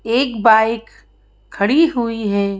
एक बाइक खड़ी हुई है।